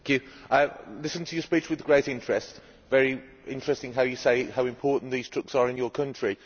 I listened to your speech with great interest it is very interesting that you say how important these trucks are in your country.